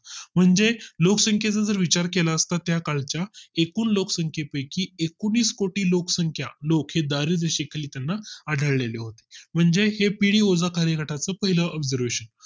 म्हणजे लोकसंख्ये चा जर विचार केला असता त्या काळ च्या एकूण लोकसंख्ये पैकी एकोणीस कोटी लोक हे लोक दारिद्र्य रेषेखाली त्यांना आढळलेले होते म्हणजे ते पिढी खालील गटातील पहिला Upgradation